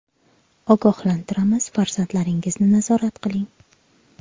Ogohlantiramiz, farzandlaringizni nazorat qiling.